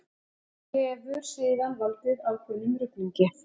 Þetta hefur síðan valdið ákveðnum ruglingi.